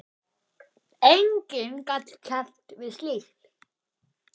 Enginn gat keppt við slíkt.